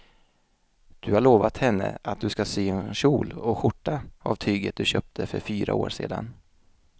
Du har lovat henne att du ska sy en kjol och skjorta av tyget du köpte för fyra år sedan.